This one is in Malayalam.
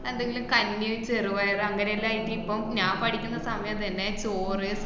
എന്തെങ്കിലും കഞ്ഞി ചെറുപയറ് അങ്ങനെല്ലോ എങ്കി ഇപ്പം ഞാൻ പഠിക്കുന്ന സമയം തന്നെ ചോറ്